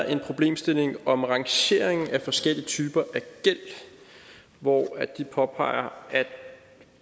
en problemstilling om rangeringen af forskellige typer af gæld hvor de påpeger at